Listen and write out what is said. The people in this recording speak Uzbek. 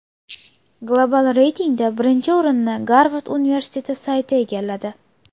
Global reytingda birinchi o‘rinni Garvard universiteti sayti egalladi.